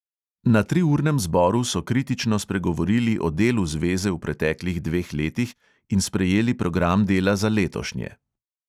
Na triurnem zboru so kritično spregovorili o delu zveze v preteklih dveh letih in sprejeli program dela za letošnje.